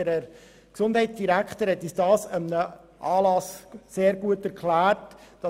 Der Gesundheitsdirektor hat uns das an einem Anlass sehr gut erklärt.